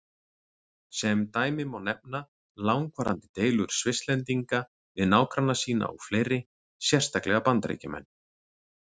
Sem dæmi má nefna langvarandi deilur Svisslendinga við nágranna sína og fleiri, sérstaklega Bandaríkjamenn.